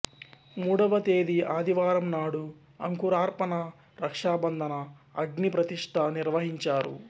మూడవ తేదీ ఆదివారం నాడు అంకురార్పణ రక్షాబంధన అగ్నిప్రతిష్ఠ నిర్వహించారు